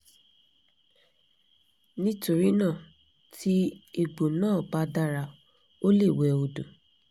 nítorí náà tí egbò náà bá dára o lè wẹ odò